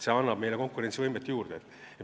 See annab meile konkurentsivõimet juurde.